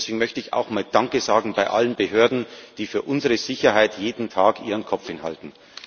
Und deswegen möchte ich auch mal danke sagen an alle Behörden, die für unsere Sicherheit jeden Tag ihren Kopf hinhalten.